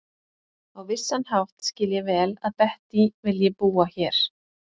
Á vissan hátt skil ég vel að Bettý vilji búa hér.